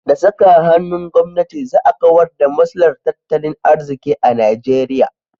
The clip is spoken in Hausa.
Da saka hannun gwamnati za a kawar da matsalar tattalin arziki a Nigeria.